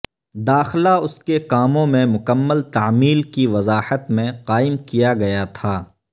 داخلہ اس کے کاموں میں مکمل تعمیل کی وضاحت میں قائم کیا گیا تھا